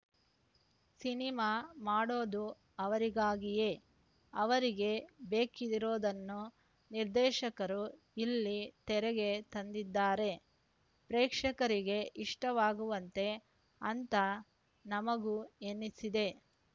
cinema ಮಾಡೋದು ಅವರಿಗಾಗಿಯೇ ಅವರಿಗೆ ಬೇಕಿರೋದನ್ನು ನಿರ್ದೇಶಕರು ಇಲ್ಲಿ ತೆರೆಗೆ ತಂದಿದ್ದಾರೆ ಪ್ರೇಕ್ಷಕರಿಗೆ ಇಷ್ಟವಾಗುವಂತೆ ಅಂತ ನಮಗೂ ಎನಿಸಿದೆ